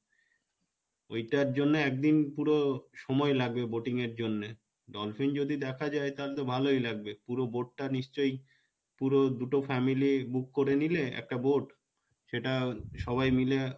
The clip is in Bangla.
ওইটার জন্যে একদিন পুরো সময় লাগবে boating এর জন্যে dolphin যদি দেখা যাই তালে তো ভালোই লাগবে পুরো boat টা নিশ্চয় পুরো দুটো family book করে নিলে একটা boat সেটা সবাই মিলে,